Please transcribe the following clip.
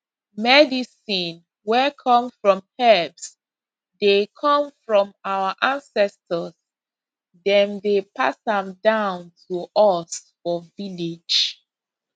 medicine wey come from herbs dey come from our ancestors dem dey pass am down to us for village